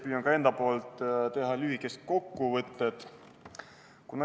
Püüan ka enda poolt teha lühikese kokkuvõtte.